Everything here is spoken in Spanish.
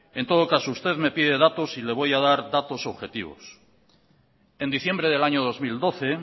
en todo caso usted me pide datos y le voy a dar datos objetivos en diciembre del año dos mil doce